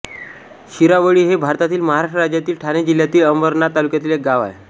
शिरावळी हे भारतातील महाराष्ट्र राज्यातील ठाणे जिल्ह्यातील अंबरनाथ तालुक्यातील एक गाव आहे